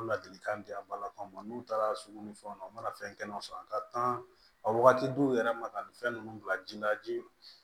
Ladilikan di a balakaw ma n'u taara sugu ni fɛnw na u mana fɛn kɛnɛw sɔrɔ a ka kan a wagati dɔw yɛrɛ ma ka ni fɛn ninnu bila ji la ji